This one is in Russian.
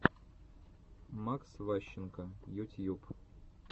макс ващенко ютьюб